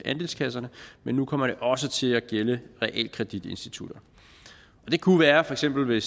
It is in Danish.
andelskasserne men nu kommer det også til at gælde realkreditinstitutterne det kunne være for eksempel